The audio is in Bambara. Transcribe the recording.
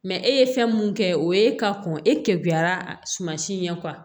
e ye fɛn mun kɛ o ye ka kɔn e keban si ye